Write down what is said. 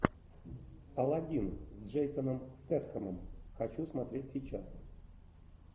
аладдин с джейсоном стетхемом хочу смотреть сейчас